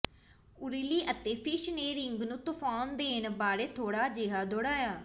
O'Reilly ਅਤੇ Fish ਨੇ ring ਨੂੰ ਤੂਫਾਨ ਦੇਣ ਬਾਰੇ ਥੋੜਾ ਜਿਹਾ ਦੌੜਿਆ